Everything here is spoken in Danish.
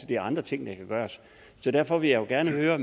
det er andre ting der kan gøres derfor vil jeg gerne høre